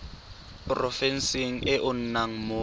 porofenseng e o nnang mo